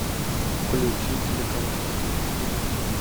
включи телеканал русский детектив